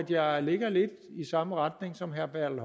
jeg ligger lidt i samme retning som herre bertel